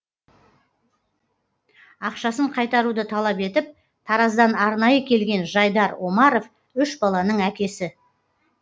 ақшасын қайтаруды талап етіп тараздан арнайы келген жайдар омаров үш баланың әкесі